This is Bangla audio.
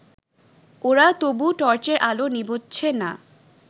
ওরা তবু টর্চের আলো নিবোচ্ছে না